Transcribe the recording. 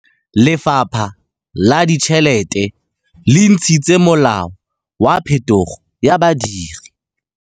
Lefapha la Ditšheletê le intshitse molao wa phetogô ya badiri.